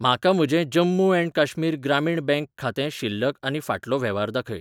म्हाका म्हजें जम्मू ऍण्ड काश्मीर ग्रामीण बँक खातें शिल्लक आनी फाटलो वेव्हार दाखय.